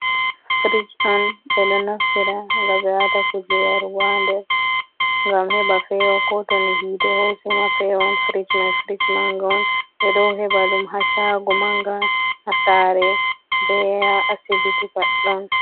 Frig on be do naftira gabe wata kuje yarugo ha nder gam heba fewa. Koto hite hosima fewan. Frig may frig manga on, be dow heba dum ha shago manga, hasare be ha asibiti paɗɗon.